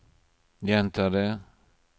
gjenta det